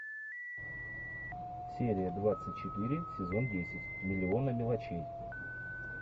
серия двадцать четыре сезон десять миллионы мелочей